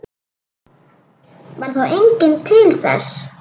Varð þá enginn til þess.